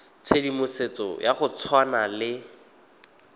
tshedimosetso ya go tshwana le